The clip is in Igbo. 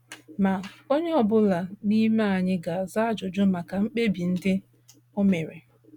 Ma, onye ọ bụla n’ime anyị ga - aza ajụjụ maka mkpebi ndị o mere.